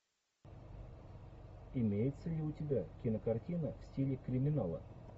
имеется ли у тебя кинокартина в стиле криминала